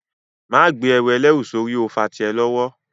Máa gbé ẹrù ẹlẹ́rù sórí ó fà tí ẹ lọ́wọ́